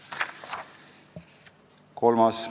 Kolmas küsimuste plokk.